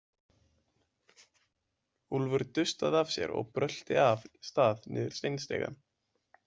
Úlfur dustaði af sér og brölti af stað niður steinstigann.